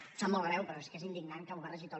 em sap molt greu però és que és indignant que ho barregi tot